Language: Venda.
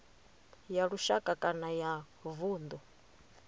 ya lushaka kana ya vundu